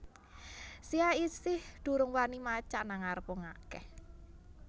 Sia isih durung wani macak nang ngarep wong akeh